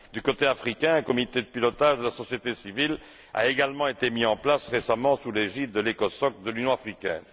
Du côté africain, un comité de pilotage de la société civile a également été mis en place récemment sous l'égide de l'Ecosoc de l'Union africaine.